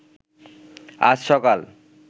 আজ সকাল